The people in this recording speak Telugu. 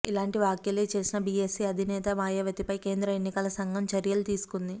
ఇలాంటి వ్యాఖ్యలే చేసిన బీఎస్పీ అధినేత్రి మాయావతిపై కేంద్ర ఎన్నికల సంఘం చర్యలు తీసుకుంది